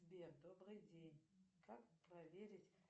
сбер добрый день как проверить